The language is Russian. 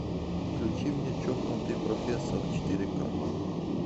включи мне чокнутый профессор четыре к